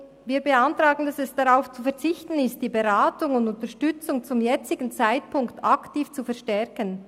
Wir beantragen, dass darauf zu verzichten ist, die Beratung und Unterstützung zum jetzigen Zeitpunkt aktiv zu verstärken.